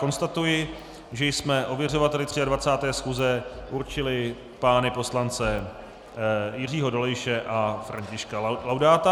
Konstatuji, že jsme ověřovateli 23. schůze určili pány poslance Jiřího Dolejše a Františka Laudáta.